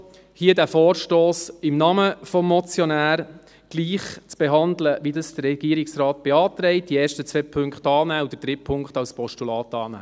Ich bitte Sie also im Namen des Motionärs, hier diesen Vorstoss gleich zu behandeln, wie dies der Regierungsrat beantragt: die ersten beiden Punkte annehmen und den dritten Punkt als Postulat annehmen.